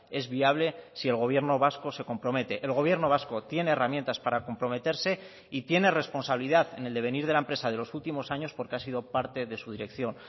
es viable si el gobierno vasco se compromete el gobierno vasco tiene herramientas para comprometerse y tiene responsabilidad en el devenir de la empresa de los últimos años porque ha sido parte de su dirección